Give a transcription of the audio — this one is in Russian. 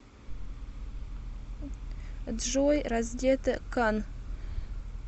джой раздета кан